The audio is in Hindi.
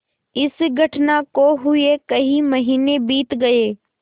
इस घटना को हुए कई महीने बीत गये